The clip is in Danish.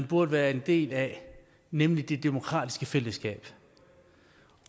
burde være en del af nemlig det demokratiske fællesskab